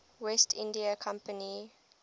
west india company